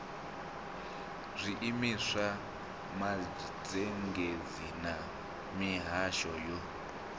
zwiimiswa mazhendedzi na mihasho yo